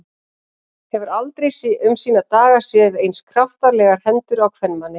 Hefur aldrei um sína daga séð eins kraftalegar hendur á kvenmanni.